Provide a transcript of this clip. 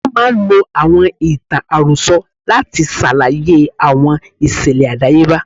Wọ́n máa ń lo àwọn ìtàn àròsọ láti ṣàlàyé àwọn ìṣẹ̀lẹ̀ àdáyebá.